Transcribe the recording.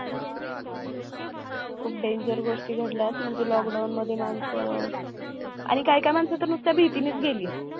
खूप danger गोष्टी घडल्या म्हणजे lockdown मध्ये मानस आणि काही काही माणसं तर नुसतं भीतीनेच गेलेत